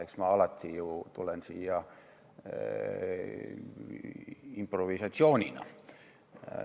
Eks ma tulen ju alati siia improvisatsiooniga.